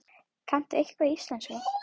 Kanntu eitthvað í íslensku?